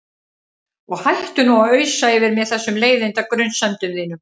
Og hættu nú að ausa yfir mig þessum leiðinda grunsemdum þínum.